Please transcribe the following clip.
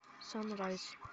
сан райз